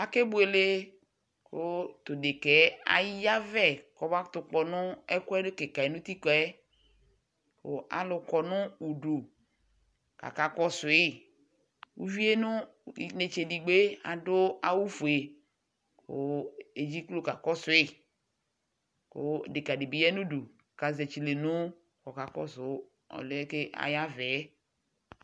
Ake buele ku tu deka yɛ kayavɛ kakpɔ alu kɔnu udu kaka kɔsu uvie nu inetsedigbo adu awu fue ku edzeklo kakɔsu deka di bi yanu udu kakɔsu ɔliɛ kayavɛ